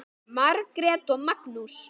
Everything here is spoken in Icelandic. Margrét og Magnús.